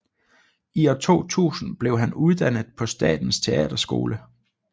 I år 2000 blev han uddannet på Statens Teaterskole